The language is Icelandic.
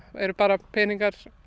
eru bara peningar